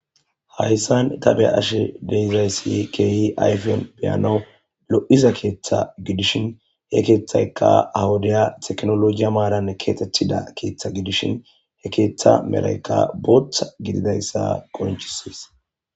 hayssan tabe ashe deizayssi keehi ayfiyon biyano lo7iza keeththa gidishin he keeththayka hawudaya teknologiya maaran keatettida keeththa gidishin he keeththa meraykka booththa gididayssa konchisies